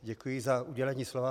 Děkuji za udělení slova.